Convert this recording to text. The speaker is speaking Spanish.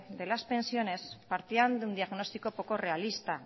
de las pensiones partían de un diagnóstico poco realista